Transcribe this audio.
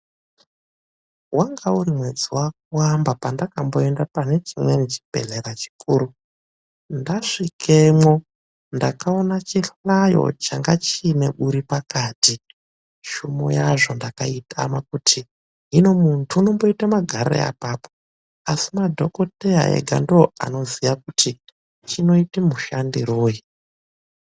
Wanga urimwedzi waKuamba pandakamboenda pane chimweni chibehlera chikuru. Ndasvikemwo ndakaona chihlayo changa chiine uri pakati .Shumo yazvo ndakaitama kuti hino muntu unomboite magarirei apapo, asi madhokodheya ega ndiwo anoziva kuti chinoita mushandiroi.